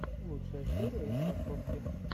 лучшая серия инфасотки